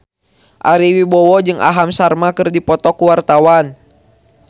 Ari Wibowo jeung Aham Sharma keur dipoto ku wartawan